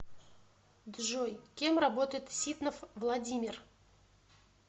джой кем работает ситнов владимир